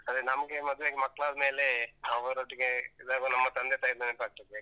ಅದೇ ನಮ್ಗೇ ಮದ್ವೆ ಆಗಿ ಮಕ್ಳಾದ್ಮೇಲೆ ಅವರೊಟ್ಟಿಗೆ ಇದಾಗುವಾಗ ನಮ್ಮ ತಂದೆ ತಾಯದ್ ನೆನ್ಪಾಗ್ತದೆ.